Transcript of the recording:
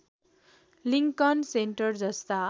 Lincoln Center जस्ता